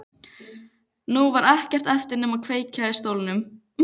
Nú var ekkert eftir nema að kveikja í stólnum.